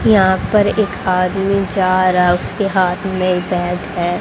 यहां पर एक आदमी जा रहा है उसके हाथ में बैग है।